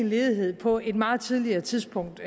ledighed på et meget tidligere tidspunkt